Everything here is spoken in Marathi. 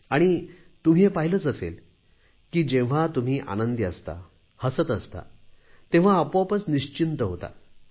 आणि तुम्ही हे पाहिलेच असेल की जेव्हा तुम्ही आनंदी असता हसत असता तेव्हा आपोआपच निश्चिंत होता